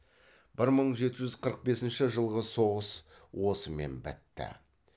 бір мың жеті жүз қырық бесінші жылғы соғыс осымен бітті